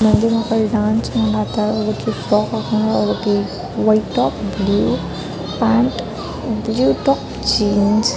dance ಮಾಡಾಕತ್ತಾವ ಒಬ್ಬಾಕಿ top ಹಾಕೋಂಡಾಲ್ ಒಬ್ಬಾಕಿ white top blue pant blue top jeans